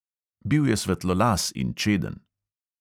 Bil je svetlolas in čeden.